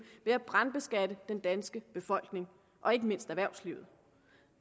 ved at brandskatte den danske befolkning og ikke mindst erhvervslivet